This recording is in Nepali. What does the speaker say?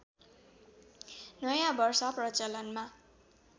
नयाँ वर्ष प्रचलनमा